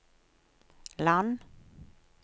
land